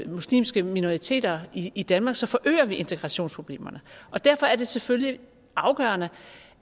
muslimske minoriteter i danmark så forøger vi integrationsproblemerne derfor er det selvfølgelig afgørende